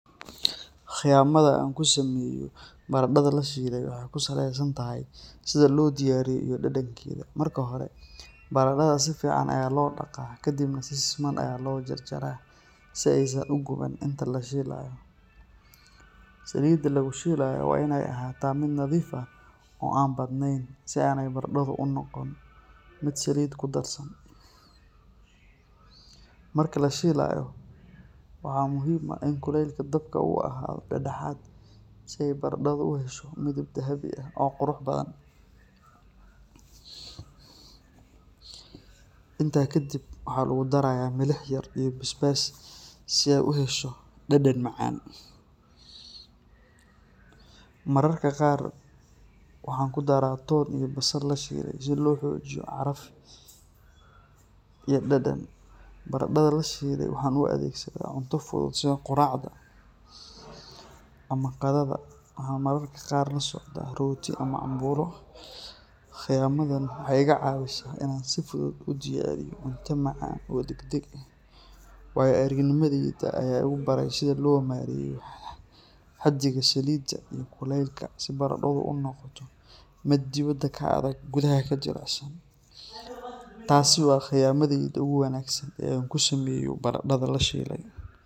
Khiyamada aan ku sameeyo baradhada la shiilay waxay ku salaysan tahay sida loo diyaariyo iyo dhadhankeeda. Marka hore, baradhada si fiican ayaa loo dhaqaa kadibna si siman ayaa loo jarjaraa si aysan u guban inta la shiilayo. Saliidda lagu shiilayo waa inay ahaataa mid nadiif ah oo aan badnayn si aanay baradhadu u noqon mid saliid ku darsan. Marka la shiilayo, waxaa muhiim ah in kulaylka dabka uu ahaado dhexdhexaad si ay baradhadu u hesho midab dahabi ah oo qurux badan. Intaa kadib, waxaa lagu darayaa milix yar iyo basbaas si ay u hesho dhadhan macaan. Mararka qaar waxaan ku darraa toon iyo basal la shiilay si loo xoojiyo caraf iyo dhadhan. Baradhada la shiilay waxaan u adeegsadaa cunto fudud sida quraacda ama qadada waxaana mararka qaar la socda rooti ama cambuulo. Khiyamadan waxay iga caawisaa inaan si fudud u diyaariyo cunto macaan oo degdeg ah. Waayo-aragnimadayda ayaa igu baray sida loo maareeyo xaddiga saliidda iyo kulaylka si baradhadu u noqoto mid dibadda ka adag gudaha ka jilicsan. Taasi waa khiyamadayda ugu wanaagsan ee aan ku sameeyo baradhada la shiilay.